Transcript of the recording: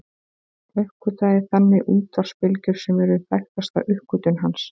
Hann uppgötvaði þannig útvarpsbylgjur sem eru þekktasta uppgötvun hans.